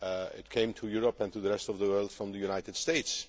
it came to Europe and to the rest of the world from the United States.